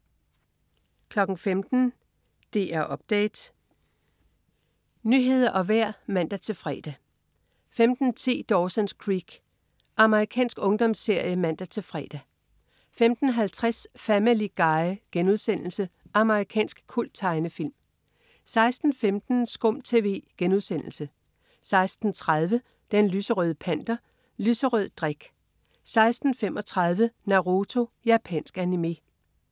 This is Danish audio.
15.00 DR Update. Nyheder og vejr (man-fre) 15.10 Dawson's Creek. Amerikansk ungdomsserie (man-fre) 15.50 Family Guy.* Amerikansk kulttegnefilm 16.15 SKUM TV* 16.30 Den lyserøde Panter. Lyserød drik 16.35 Naruto. Japansk animé